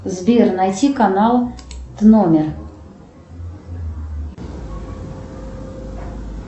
сбер найти канал тномер